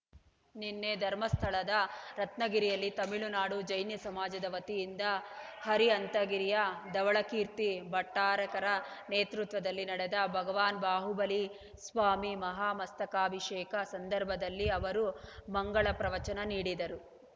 ನಿನ್ನೆ ಧರ್ಮಸ್ಥಳದ ರತ್ನಗಿರಿಯಲ್ಲಿ ತಮಿಳುನಾಡು ಜೈನ ಸಮಾಜದ ವತಿಯಿಂದ ಅರಿಹಂತಗಿರಿಯ ಧವಳಕೀರ್ತಿ ಭಟ್ಟಾರಕರ ನೇತೃತ್ವದಲ್ಲಿ ನಡೆದ ಭಗವಾನ್ ಬಾಹುಬಲಿ ಸ್ವಾಮಿ ಮಹಾಮಸ್ತಕಾಭಿಷೇಕ ಸಂದರ್ಭದಲ್ಲಿ ಅವರು ಮಂಗಲ ಪ್ರವಚನ ನೀಡಿದರು